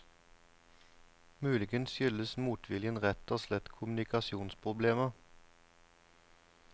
Muligens skyldes motviljen rett og slett kommunikasjonsproblemer?